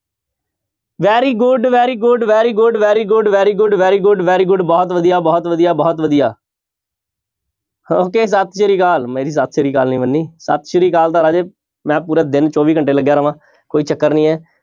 Very good, very good, very good, very good, very good, very good, very good ਬਹੁਤ ਵਧੀਆ ਬਹੁਤ ਵਧੀਆ ਬਹੁਤ ਵਧੀਆ okay ਸਤਿ ਸ੍ਰੀ ਅਕਾਲ ਮੇਰੀ ਸਤਿ ਸ੍ਰੀ ਅਕਾਲ ਨੀ ਮੰਨੀ, ਸਤਿ ਸ੍ਰੀ ਅਕਾਲ ਤਾਂ ਰਾਜੇ ਮੈਂ ਪੂਰੇ ਦਿਨ ਚੌਵੀ ਘੰਟੇ ਲੱਗਿਆ ਰਵਾਂ ਕੋਈ ਚੱਕਰ ਨੀ ਹੈ।